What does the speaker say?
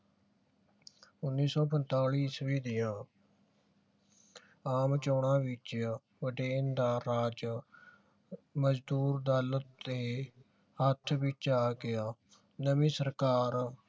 ਉੱਨੀ ਸੋ ਪੰਤਾਲੀ ਈਸਵੀ ਦੀਆ ਆਮ ਚੌਣਾ ਵਿਚ ਬ੍ਰਿਟੇਨ ਦਾ ਰਾਜ ਮਜਦੂਰ ਦਲ ਦੇ ਹੱਥ ਵਿਚ ਆ ਗਿਆ। ਨਵੀ ਸਰਕਾਰ